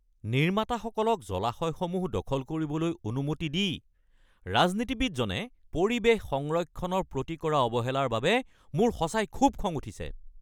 নিৰ্মাতাসকলক জলাশয়সমূহ দখল কৰিবলৈ অনুমতি দি ৰাজনীতিবিদজনে পৰিৱেশ সংৰক্ষণৰ প্ৰতি কৰা অৱহেলাৰ বাবে মোৰ সঁচাই খুউব খং উঠিছে।